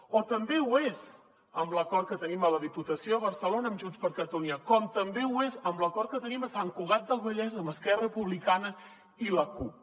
o també ho és amb l’acord que tenim a la diputació de barcelona amb junts per catalunya com també ho és amb l’acord que tenim a sant cugat del vallès amb esquerra republicana i la cup